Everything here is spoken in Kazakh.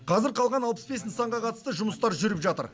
қазір қалған алпыс бес нысанға қатысты жұмыстар жүріп жатыр